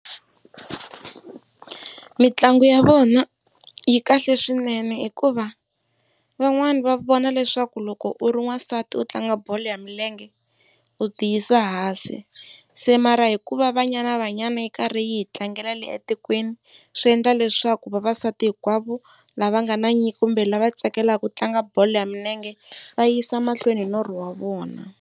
Mitlangu ya vona yi kahle swinene hikuva van'wana va vona leswaku loko u ri wansati u tlanga bolo ya milenge u ti yisa hansi. Se mara hikuva Banyana Banyana yi karhi yi hi tlangela le etikweni swi endla leswaku vavasati hinkwavo lava nga na nyiko kumbe lava tsakelaka ku tlanga bolo ya milenge va yisa mahlweni norho wa vona.